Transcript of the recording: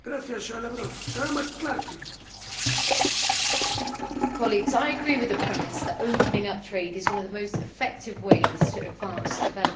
Mr President, I agree with the premise that opening up trade is one of the most effective ways to advance development.